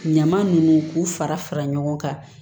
Ɲama ninnu k'u fara fara ɲɔgɔn kan